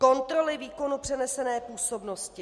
Kontroly výkonu přenesené působnosti.